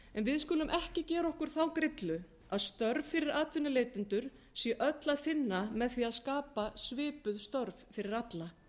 við skulum ekki gera okkur þá grillu að störf fyrir atvinnuleitendur sé öll að finna með því að skapa svipuð störf fyrir alla